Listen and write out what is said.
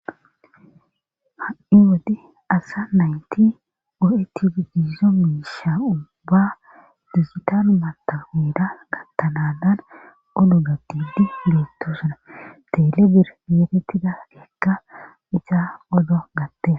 ha7i wode asa naynti o7etid diizo miisha ubba duzitalu matamida gantanaanan olo gatidi hilutosuna teele bir geetettida keekka icaa odo gatte